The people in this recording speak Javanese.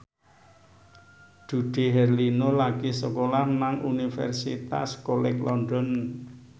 Dude Herlino lagi sekolah nang Universitas College London